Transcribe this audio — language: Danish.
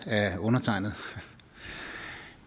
af undertegnede